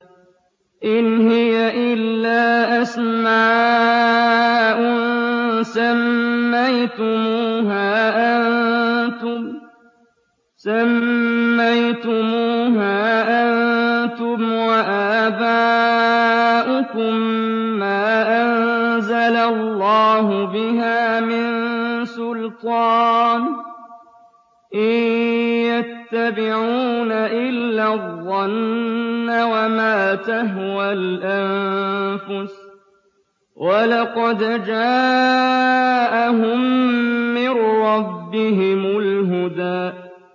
إِنْ هِيَ إِلَّا أَسْمَاءٌ سَمَّيْتُمُوهَا أَنتُمْ وَآبَاؤُكُم مَّا أَنزَلَ اللَّهُ بِهَا مِن سُلْطَانٍ ۚ إِن يَتَّبِعُونَ إِلَّا الظَّنَّ وَمَا تَهْوَى الْأَنفُسُ ۖ وَلَقَدْ جَاءَهُم مِّن رَّبِّهِمُ الْهُدَىٰ